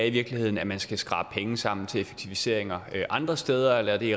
i virkeligheden at man skal skrabe penge sammen til effektiviseringer andre steder eller er det